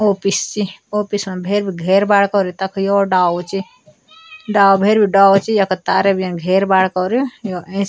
ओफिस चि ओफिस म भैर बे घैर बाड कौर्यु तख यो डालो च डालो भैर बट डाला च यखा तारे बेन घैर बाड कौर यो एैंच --